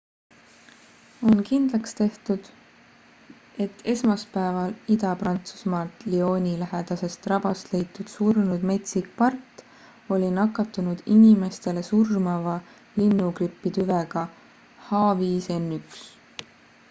on kindlaks tehtud et esmaspäeval ida-prantsusmaalt lyoni lähedasest rabast leitud surnud metsik part oli nakatunud inimestele surmava linnugripi tüvega h5n1